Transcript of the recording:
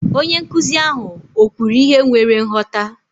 Onye nkụzi ahụ o kwuru ihe nwere nghọta?